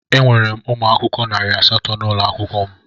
Enwere m ụmụ akwụkwọ narị asatọ n'ụlọ akwụkwọ m.